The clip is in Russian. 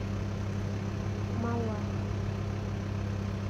малахов